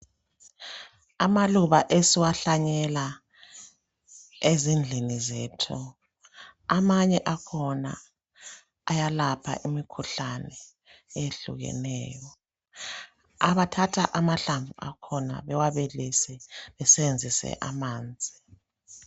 Amaluba esiwahlanyela ezindlini zethu amanye akhona ayalapha imikhuhlane eyehlukeneyo. Abathatha amahlamvu akhona bawabilise besebenzise amanzi.